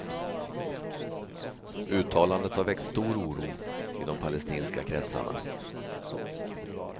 Uttalandet har väckt stor oro i de palestinska kretsarna.